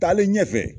Taalen ɲɛfɛ